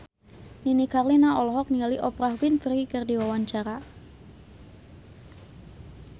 Nini Carlina olohok ningali Oprah Winfrey keur diwawancara